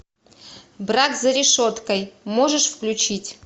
брак за решеткой можешь включить